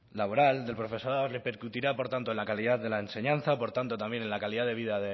laboral del profesorado repercutirá por tanto en la calidad de la enseñanza por tanto también en la calidad de vida